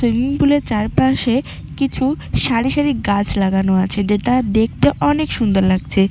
Swimming pool -এর চারপাশে কিছু সারি সারি গাছ লাগানো আছে যেটা দেখতে অনেক সুন্দর লাগছে।